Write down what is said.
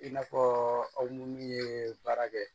I n'a fɔ aw ni min ye baara kɛ